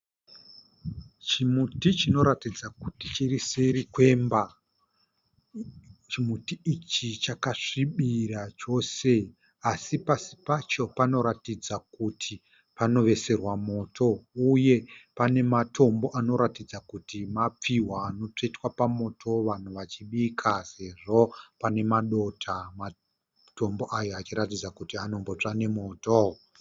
Chimuti chinoratidza kuti chiriseri kwemba. Chimuti ichi chakasvibira chose asi pasi pacho panoratidza kuti panoveserwa moto uye pane matombo anoratidza kuti mapfihwa anotsvetwa pamoto vanhu vachibika sezvo pane madota matombo achiratidza kuti anombotsva nemoto.